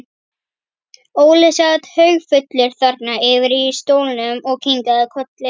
Óli sat haugfullur þarna yfir í stólnum og kinkaði kolli.